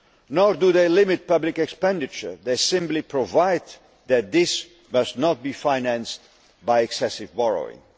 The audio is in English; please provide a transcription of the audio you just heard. Nor do they limit public expenditure they simply provide that this must not be financed by excessive borrowing.